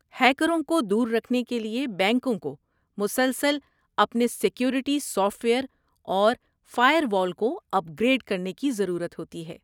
ہیکروں کو دور رکھنے کے لیے بینکوں کو مسلسل اپنے سیکورٹی سافٹ ویئر اور فائر وال کو اپگریڈ کرنے کی ضرورت ہوتی ہے۔